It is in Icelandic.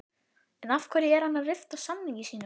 En af hverju er hann að rifta samningi sínum?